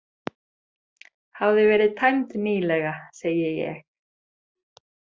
Hafði verið tæmd nýlega, segi ég.